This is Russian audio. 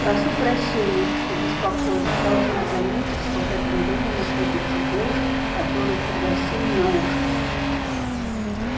прошу прощения что беспокою но должна заметить что в этом доме находится девушка которую пригласили на ужин